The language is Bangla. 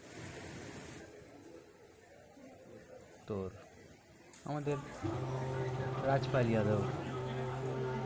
তোর আমাদের রাজ পাল যাদব।